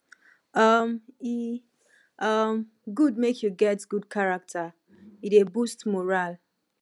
um e um good make you get good character e dey boost morale